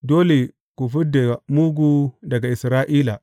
Dole ku fid da mugu daga Isra’ila.